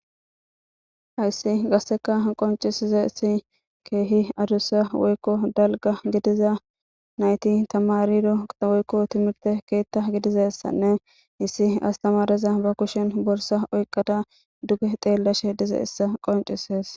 Hayssi gasseka qoncisize si keehi adussa woykko dalga gidiza nayti tamarido qa woykko timirte keetta gidizessanne issi astamareza ba kushen borsa oyqqada duge xeellashe dize issa qoncises.